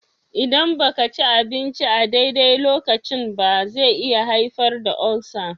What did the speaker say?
Idan ba ka ci abinci a daidai lokacin ba, zai iya haifar da ulcer